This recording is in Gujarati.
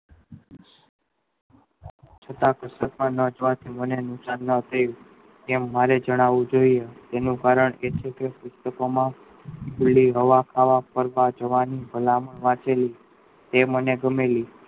છતાં સરકાર ના મને નુકશાન ન થયું તેવ મારે જણાવું જોયીયે કારણ એટલું કે પુસ્તકો માં હોવા ખાવા રાહ જોવાની તે મને ગમે એવી